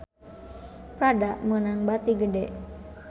Prada meunang bati gede